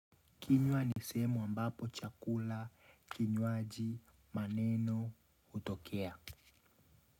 Kinywa ni sehemu ambapo chakula, kinywaji, maneno, hutokea.